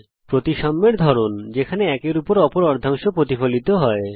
এটি হল প্রতিসাম্যের এক ধরন যেখানে এক অর্ধাংশ অপর অর্ধাংশের প্রতিফলন হয়